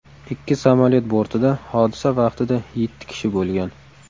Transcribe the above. Ikki samolyot bortida hodisa vaqtida yetti kishi bo‘lgan.